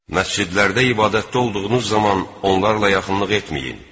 Məscidlərdə ibadətdə olduğunuz zaman onlarla yaxınlıq etməyin.